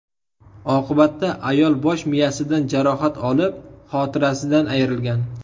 Oqibatda ayol bosh miyasidan jarohat olib, xotirasidan ayrilgan.